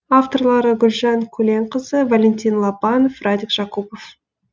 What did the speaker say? авторлары гүлжан көленқызы валентин лобанов радик жакупов